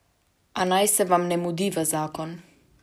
A naj se vam ne mudi v zakon.